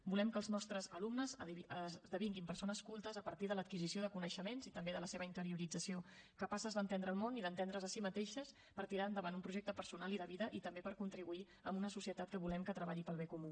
volem que els nostres alumnes esdevinguin persones cultes a partir de l’adquisició de coneixements i també de la seva interiorització capaces d’entendre el món i d’entendre’s a si mateixes per tirar endavant un projecte personal i de vida i també per a contribuir amb una societat que volem que treballi pel bé comú